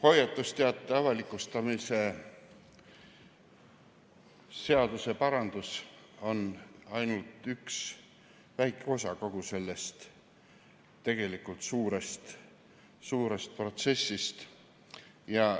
Hoiatusteate avalikustamisega seotud seaduseparandus on ainult üks väike osa kogu sellest suurest protsessist.